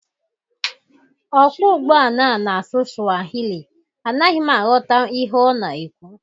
Ọkwọ ụgbọala a na-asụ Swahili, anaghi m aghọta m ihe ọ na-ekwu